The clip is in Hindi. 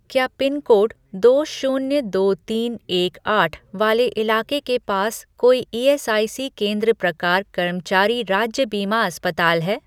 क्या पिनकोड दो शून्य दो तीन एक आठ वाले इलाके के पास कोई ईएसआईसी केंद्र प्रकार कर्मचारी राज्य बीमा अस्पताल है?